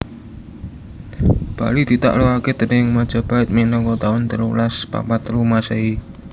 Bali ditaklukake déning Majapahit minangka taun telulas papat telu Masehi